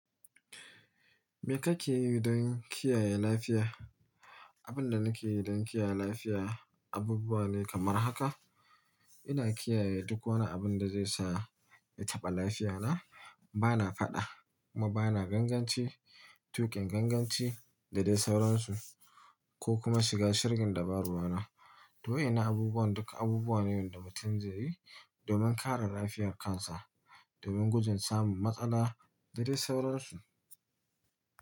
Me kake yi don kiyaye lafiya? Abin da nake yi don kiyaye lafiya abubuwa ne kamar haka. Ina kiyaye duk wani abun da zai sa ya taɓa lafiyana. Ba na faɗa kuma ba na ganganci, tuƙin ganganci da dai sauransu ko kuma shiga shirgin da babu ruwana. To wa in nan abubuwan duk abubuwa ne wanda mutum zai yi domin kare lafiyar kansa, domin gujin samun matsala da dai sauransu.